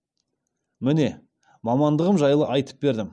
міне мамандығым жайлы айтып бердім